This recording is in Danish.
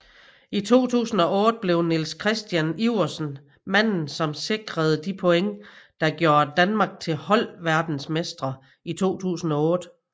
I 2008 blev Niels Kristian Iversen manden som sikrede de point der gjorde Danmark til holdverdensmestre 2008